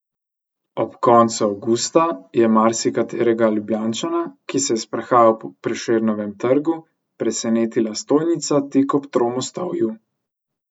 Ob koncu avgusta je marsikaterega Ljubljančana, ki se je sprehajal po Prešernovem trgu, presenetila stojnica tik ob Tromostovju.